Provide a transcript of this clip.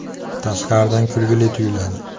Tashqaridan kulgili tuyuladi.